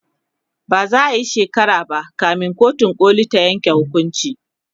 ba za'a Kai shekara ba kamin kotun koli ta Yanke hukunci